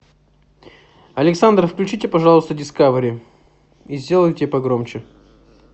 александра включите пожалуйста дискавери и сделайте погромче